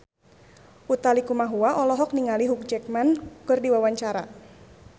Utha Likumahua olohok ningali Hugh Jackman keur diwawancara